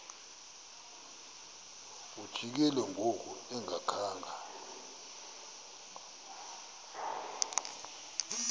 lijikile ngoku engakhanga